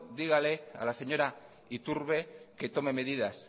dígale a la señora iturbe que tome medidas